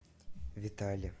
витале